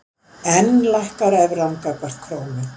Enn lækkar evran gagnvart krónu